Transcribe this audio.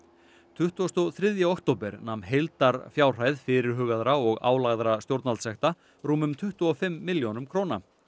tuttugasta og þriðja október nam heildarfjárhæð fyrirhugaðra og álagðra stjórnvaldssekta rúmum tuttugu og fimm milljónum króna